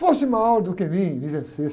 Foste maior do que mim e me vencesse.